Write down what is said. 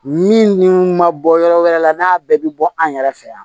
Min dun ma bɔ yɔrɔ wɛrɛ la n'a bɛɛ bi bɔ an yɛrɛ fɛ yan